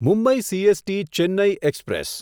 Mumbai CST Chennai express